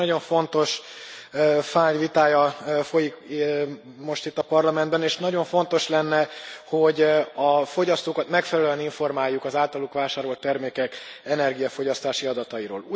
Valóban egy nagyon fontos fájl vitája folyik most itt a Parlamentben, és nagyon fontos lenne, hogy a fogyasztókat megfelelően informáljuk az általuk vásárolt termékek energiafogyasztási adatairól.